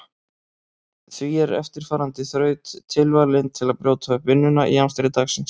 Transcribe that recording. Því er eftirfarandi þraut tilvalin til að brjóta upp vinnuna í amstri dagsins.